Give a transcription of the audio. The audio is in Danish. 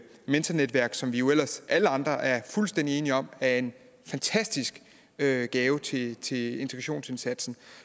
mentornetværk som jo ellers alle andre er fuldstændig enige om er en fantastisk gave gave til til integrationsindsatsen